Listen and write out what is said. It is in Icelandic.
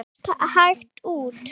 Mást hægt út.